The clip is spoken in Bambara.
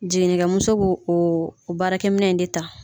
Jiginni kɛmuso bo o baarakɛ minɛ in de ta.